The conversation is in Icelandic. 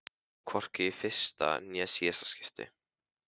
Og hvorki í fyrsta né síðasta skipti.